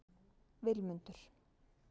Vilmundur